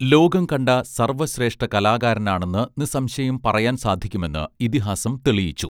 ലോകം കണ്ട സർവ്വശ്രേഷ്ഠ കലാകാരനാണെന്ന് നിസ്സംശയം പറയാൻ സാധിക്കുമെന്ന് ഇതിഹാസം തെളിയിച്ചു